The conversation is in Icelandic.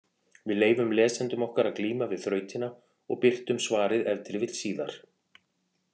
Við leyfum lesendum okkar að glíma við þrautina og birtum svarið ef til vill síðar.